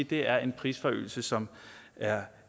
det er en prisforøgelse som er